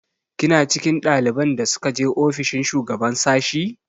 Kina cikin ɗaliban da suka je ofishin shugaban sashi?